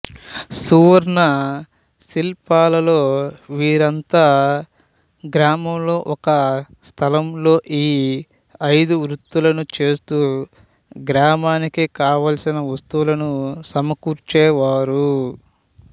సువర్ణ శిల్పుల లలో వీరంతా గ్రామంలో ఒక స్థలంలో ఈ ఐదు వృత్తులనూ చేస్తూ గ్రామానికి కావల్సిన వస్తువులను సమకూర్చేవారు